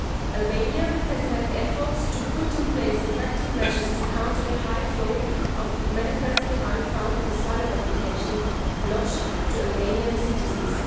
Albania has made efforts to put in place effective measures to counter the high flow of manifestly unfounded asylum applications lodged to Albanian citizens.